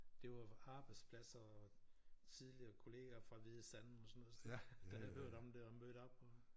Det var jo arbejdspladser og tidligere kollager fra Hvide Sande og sådan noget der havde hørt om det og mødt op og